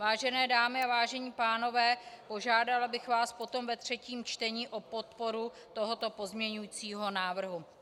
Vážené dámy a vážení pánové, požádala bych vás potom ve třetím čtení o podporu tohoto pozměňovacího návrhu.